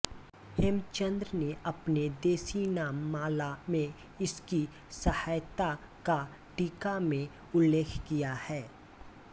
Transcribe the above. हेमचंद्र ने अपने देशीनाममाला में इसकी सहायता का टीका में उल्लेख किया है